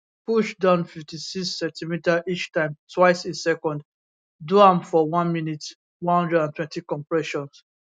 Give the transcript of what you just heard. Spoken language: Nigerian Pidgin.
push down 56cm each time twice a second do am for 1 minute 120 compressions